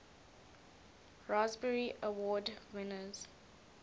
raspberry award winners